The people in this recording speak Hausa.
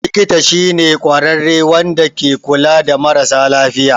Likita shi ne kwarare Wanda ke kula da mara sa lafiya.